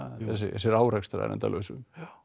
þessir árekstrar endalausu